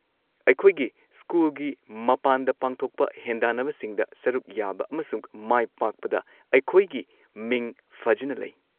ꯑꯩꯈꯣꯏꯒꯤ ꯁ꯭ꯀꯨꯜꯒꯤ ꯃꯄꯥꯟꯗ ꯄꯥꯡꯊꯣꯛꯄ ꯍꯦꯟꯗꯥꯟꯅꯕꯁꯤꯡꯗ ꯁꯔꯨꯛ ꯌꯥꯕ ꯑꯃꯁꯨꯡ ꯃꯥꯏꯄꯥꯛꯄꯗ ꯑꯩꯈꯣꯏꯒꯤ ꯃꯤꯡ ꯐꯖꯅ ꯂꯩ꯫